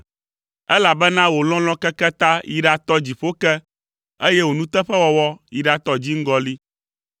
elabena wò lɔlɔ̃ keke ta, yi ɖatɔ dziƒo ke, eye wò nuteƒewɔwɔ yi ɖatɔ dziŋgɔli.